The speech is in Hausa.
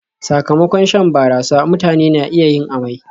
Sakamakon shan barasa, mutane na iya yin amai